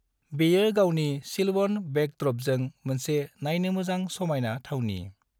बेयो गावनि सिल्वन बेकद्रपजों मोनसे नायनो मोजां समायना थावनि।